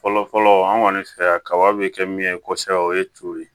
Fɔlɔ fɔlɔ an kɔni fɛ yan kaba bɛ kɛ min ye kosɛbɛ o ye co ye